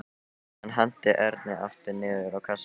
Hann henti Erni aftur niður á kassann.